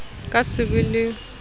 ho ka se be le